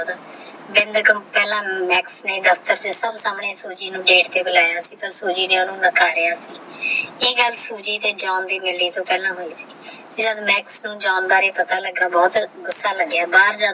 ਪਹਲਾ ਮਾਕ੍ਸ ਨੇ ਦਸ ਤੇਹ ਦਿਤਾ ਸੂਜੀ ਨੂ ਗਾਤੇ ਤੇਹ ਬੁਲਾਇਆ ਸੀ ਤਹ ਸੂਜੀ ਨੇ ਓਹਨੁ ਸੀ ਇਹ ਸਾਲ ਸੂਜੀ ਤੇਹ ਜਾਨ ਦੀ ਮਿਲਣੀ ਤੋਂ ਪਹਲਾ ਹੋਯੀ ਸੀ ਜਾਨ ਬਾਰੇ ਪਤਾ ਲਗਿਆ ਸੀ ਤਹ ਓਹਨੁ ਗੁੱਸਾ ਲਾਗ੍ਯ